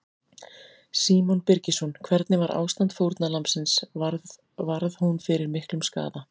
Símon Birgisson: Hvernig var ástand fórnarlambsins, varð, varð hún fyrir miklum skaða?